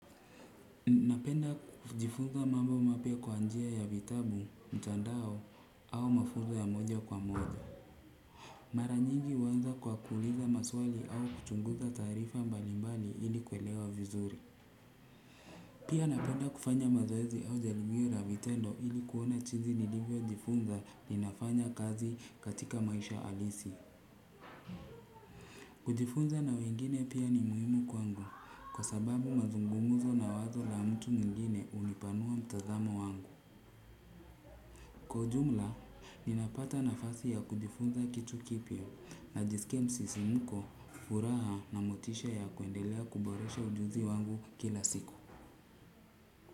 Napenda kujifunza mambo mapya kwa njia ya vitabu, mtandao au mafunza ya moja kwa moja. Mara nyingi huanza kwa kuuliza maswali au kuchunguza taarifa mbalimbali ili kwelewa vizuri. Pia napenda kufanya mazoezi au jalibio la vitendo ili kuona jinsi nilivyo jifunza ni nafanya kazi katika maisha halisi. Kujifunza na wengine pia ni muhimu kwangu kwa sababu mazungumzo na wazo la mtu mwingine hunipanua mtazamo wangu. Kwa ujumla, ninapata nafasi ya kujifunza kitu kipya najisikia msisimuko furaha na motisha ya kuendelea kuboresha ujuzi wangu kila siku.